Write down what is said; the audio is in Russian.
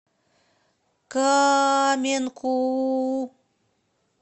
каменку